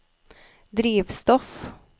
drivstoff